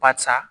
Barisa